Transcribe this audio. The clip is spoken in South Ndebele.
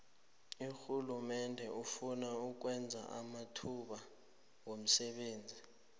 urhulumende ufuna ukwenza amathuba womsebenzi